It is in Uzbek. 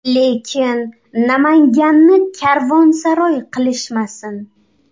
Lekin Namanganni karvonsaroy qilishmasin.